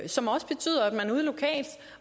som også betyder at man ude lokalt